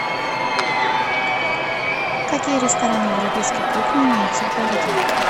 какие рестораны европейской кухни имеются в городе